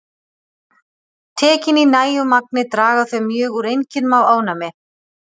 Tekin í nægu magni draga þau mjög úr einkennum af ofnæmi.